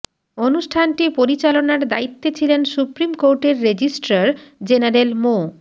অনুষ্ঠানটি পরিচালনার দায়িত্বে ছিলেন সুপ্রিম কোর্টের রেজিস্ট্রার জেনারেল মো